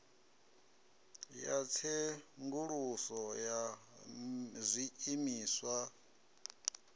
ya tsenguluso ya zwiimiswa i